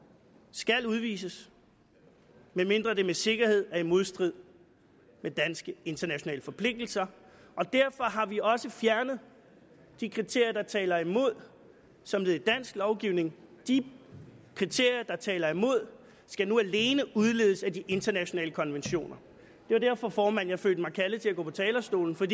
skal udvises medmindre det med sikkerhed er i modstrid med danske og internationale forpligtelser og derfor har vi også fjernet de kriterier der taler imod som led i dansk lovgivning de kriterier der taler imod skal nu alene udledes af de internationale konventioner det var derfor formand jeg følte mig kaldet til at gå på talerstolen for